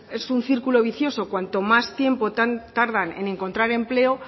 es un círculo vicioso cuanto más tiempo tardan en encontrar empleo